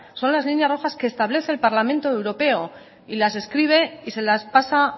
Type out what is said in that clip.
son las líneas rojas que establece el parlamento europeo y las escribe y se las pasa